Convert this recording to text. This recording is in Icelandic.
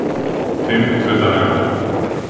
fimmtudaganna